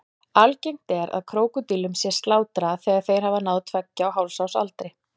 Algengt er að krókódílum sé slátrað þegar þeir hafa náð tveggja og hálfs árs aldri.